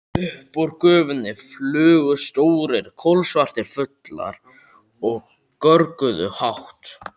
Upp úr gufunni flugu stórir, kolsvartir fuglar og görguðu hátt.